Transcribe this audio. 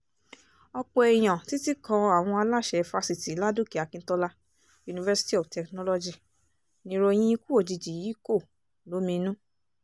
ọ̀pọ̀ èèyàn títí kan àwọn aláṣẹ fásitì ládòkè akintola university of technology nìròyìn ikú òjijì yìí kò lóminú